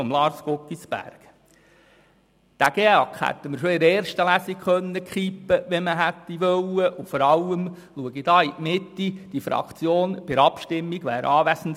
Den GEAK hätten wir bereits in der ersten Lesung kippen können, wenn man es gewollt hätte und vor allem wenn die Fraktion hier in die Mitte bei der Abstimmung anwesend gewesen wäre.